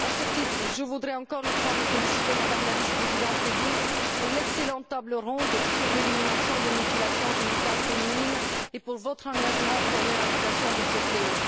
À ce titre, je voudrais encore une fois vous féliciter, Madame la vice présidente, pour l'excellente table ronde sur l'élimination des mutilations génitales féminines et pour votre engagement en faveur de l'éradication de ce fléau.